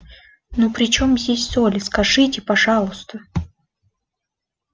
ну при чём здесь соль скажите пожалуйста